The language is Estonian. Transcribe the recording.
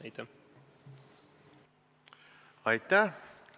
Aitäh!